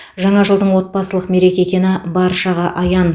жаңа жылдың отбасылық мереке екені баршаға аян